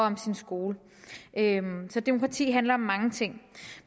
ens skole så demokrati handler om mange ting